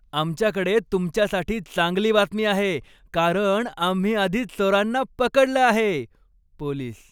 आमच्याकडे तुमच्यासाठी चांगली बातमी आहे, कारण आम्ही आधीच चोरांना पकडलं आहे. पोलीस